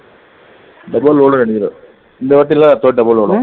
double load ஏ அடிக்கிறார் இந்தவாட்டி எல்லாம் double ஓடும்